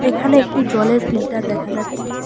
এখানে একটি জলের ফিল্টার দেখা যাচ্ছে।